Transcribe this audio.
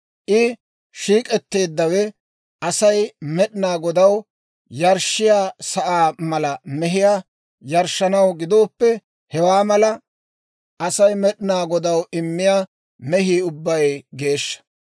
« ‹I shiik'etteeddawe Asay Med'inaa Godaw yarshshiyaa sa'aa mala mehiyaa yarshshanaw gidooppe, hewaa mala Asay Med'inaa Godaw immiyaa mehii ubbay geeshsha.